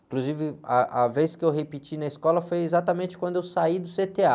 Inclusive, ah, a vez que eu repeti na escola foi exatamente quando eu saí do cê-tê-á.